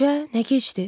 Üçə nə keçdi?